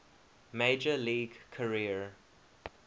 major league career